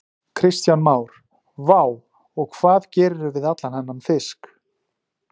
Kristján Már: Vá, og hvað gerirðu við allan þennan fisk?